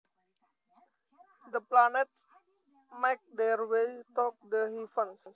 The planets make their way through the heavens